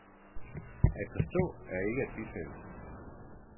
At forstå er ikke at bifalde.